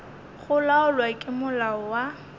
go laolwa ke molao wa